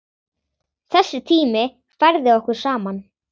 Þessi tími færði okkur saman.